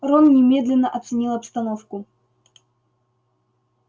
рон немедленно оценил обстановку